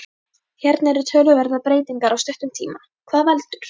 Hérna eru töluverðar breytingar á stuttum tíma, hvað veldur?